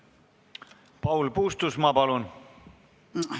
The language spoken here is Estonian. Paul Puustusmaa, palun!